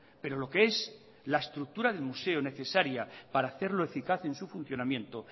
pero lo que es la estructura del museo necesaria para hacerlo eficaz en su funcionamiento